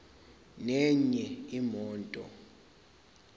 nenye imoto